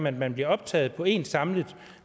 at man bliver optaget på én samlet